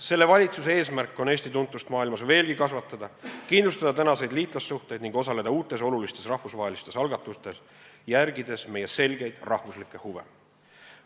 Selle valitsuse eesmärk on Eesti tuntust maailmas veelgi kasvatada, kindlustada tänaseid liitlassuhteid ning osaleda uutes olulistes rahvusvahelistes algatustes, järgides meie selgeid rahvuslikke huve.